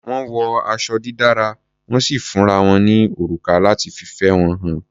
Wọ́n wọ aṣọ dídára, wọ́n sì fúnra wọn ní òrùka láti fìfẹ́ wọn hàn.